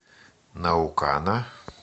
наукана